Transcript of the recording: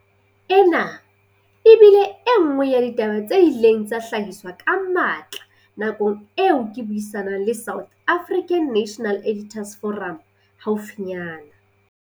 Ena e bile e nngwe ya ditaba tse ileng tsa hlahiswa ka matla nakong eo ke buisa nang le South African National Editors' Forum haufinyana.